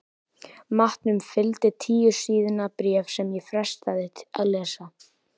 Matnum fylgdi tíu síðna bréf sem ég frestaði að lesa.